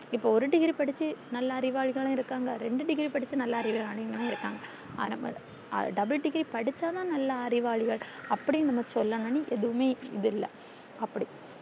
இப்போ ஒரு degree படிச்சி நல்லா அறிவாளிகளு இருக்காங்க ரெண்டு degree படிச்சி நல்லா அறிவாளிகளு இருக்காங்க double degree படிச்சா தான் நல்லா அறிவாளிகள் அப்டின்னு நம்ம சொல்லனும்னு எதுமே இது இல்ல அப்டி